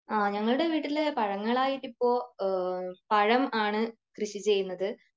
ആ ഞങ്ങളുടെ വീട്ടിൽ പഴങ്ങളായിട്ട് ഇപ്പോ പഴം ആണ് കൃഷി ചെയ്യുന്നത്.